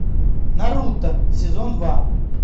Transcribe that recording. наруто сезон два